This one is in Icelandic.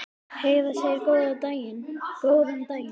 Heiða segir góðan daginn!